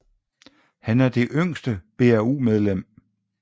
Han er det yngste BAU medlem